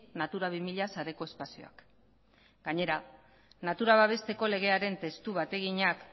natura bi mila sareko espazioak gainera natura babesteko legearen testu bateginak